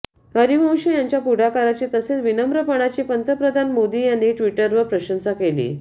हरीवंश यांच्या पुढाकाराची तसेच विनम्रपणाची पंतप्रधान मोदी यांनी ट्विटरवर प्रशंसा केली